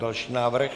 Další návrh?